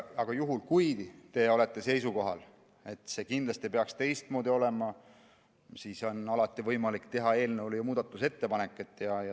Aga juhul kui te olete seisukohal, et see kindlasti peaks teistmoodi olema, siis on alati võimalik teha eelnõu kohta ju muudatusettepanek.